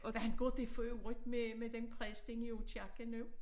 Hvordan går det for øvrigt med med den præst inde i Aakirke nu?